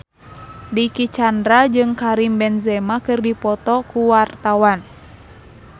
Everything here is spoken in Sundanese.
Dicky Chandra jeung Karim Benzema keur dipoto ku wartawan